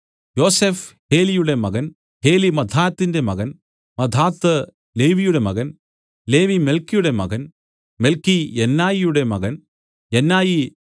യോസഫ് ഹേലിയുടെ മകൻ ഹേലി മത്ഥാത്തിന്റെ മകൻ മത്ഥാത്ത് ലേവിയുടെ മകൻ ലേവി മെല്ക്കിയുടെ മകൻ മെല്ക്കി യന്നായിയുടെ മകൻ യന്നായി